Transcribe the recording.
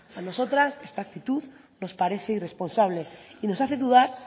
a nosotras esta actitud nos parece irresponsable y nos hace dudar